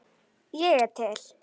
Ég er til.